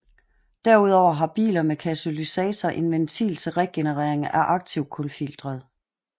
Derudover har biler med katalysator en ventil til regenerering af aktivkulfiltret